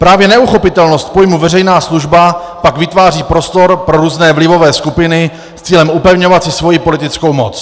Právě neuchopitelnost pojmu veřejná služba pak vytváří prostor pro různé vlivové skupiny s cílem upevňovat si svoji politickou moc.